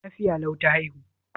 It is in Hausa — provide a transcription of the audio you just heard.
Lafiya lau ta haihu?